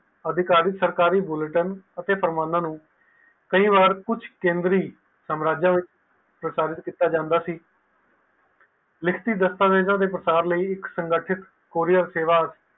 ਅਧਿਕਾਰੀ ਸਰਕਾਰੀ ਬੁਲਿਟਨ ਅਤੇ ਕਈ ਵਾਰ ਕੁਛ ਕੇਂਦਰ ਨੂੰ ਸਾਮਰਾਜ ਵਿਚ ਕੀਆ ਜਾਂਦਾ ਸੀ ਲਿਖਤੀ ਦਾਸਤਾਂ ਵੇਦ ਤੇ ਕੁਰਿਆਰ ਸੇਵਾ